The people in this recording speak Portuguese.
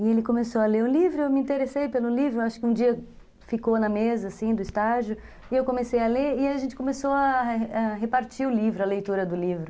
E ele começou a ler o livro, eu me interessei pelo livro, acho que um dia ficou na mesa, assim, do estágio, e eu comecei a ler, e a gente começou a a repartir o livro, a leitura do livro.